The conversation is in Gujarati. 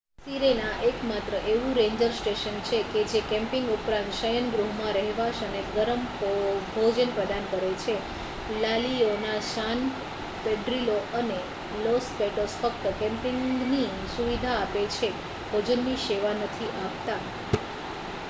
સિરેના એકમાત્ર એવું રેન્જર સ્ટેશન છે કે જે કેમ્પિંગ ઉપરાંત શયનગૃહમાં રહેવાસ અને ગરમ ભોજન પ્રદાન કરે છે લા લિઓના સાન પેડ્રિલો અને લોસ પેટોસ ફક્ત કેમ્પિંગની સુવિધા આપે છે ભોજનની સેવા નથી આપતા